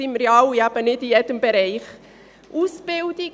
Wir alle sind ja nicht in jedem Bereich professionell.